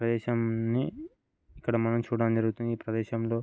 ప్రదేశంని ఇక్కడ మనం చూడం జరుగుతుంది. ఈ ప్రదేశంలో--